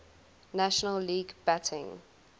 national league batting